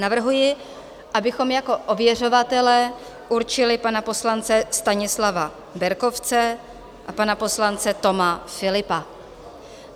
Navrhuji, abychom jako ověřovatele určili pana poslance Stanislava Berkovce a pana poslance Toma Philippa.